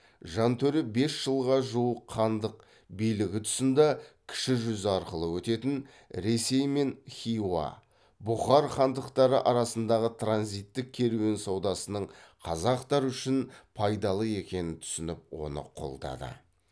жантөре бес жылға жуық хандық билігі тұсында кіші жүз арқылы өтетін ресей мен хиуа бұхар хандықтары арасындағы транзиттік керуен саудасының қазақтар үшін пайдалы екенін түсініп оны қолдады